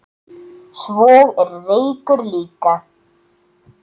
Svo er reykur líka.